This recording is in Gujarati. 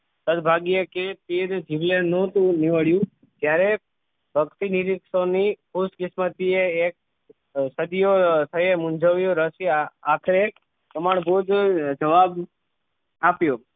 તલભાગ્યે કે તે જ જીવલેણ નહોતું નીવડ્યું જ્યારે પક્ષી નિરીક્ષો ની ખુશકિસ્મતી એ એક સદીયો થયે મુંજવ્યો રસ્ય આખરે પ્રામાણભૂત જવાબ આપ્યો